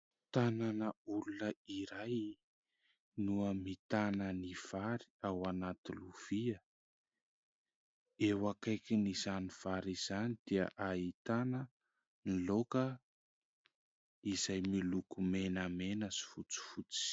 Tanana olona iray no ahitana ny vary ao anaty lovia. Eo akaikin'izany vary izany dia ahitana ny laoka izay miloko menamena sy fotsifotsy.